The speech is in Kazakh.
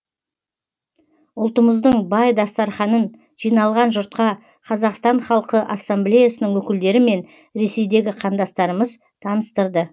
ұлтымыздың бай дастарханын жиналған жұртқа қазақстан халқы ассамблеясының өкілдері мен ресейдегі қандастарымыз таныстырды